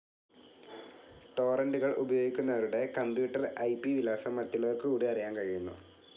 ടോറൻ്റുകൾ ഉപയോഗിക്കുന്നവരുടെ computer I P വിലാസം മറ്റുള്ളവർക്ക് കൂടി അറിയാൻ കഴിയുന്നു.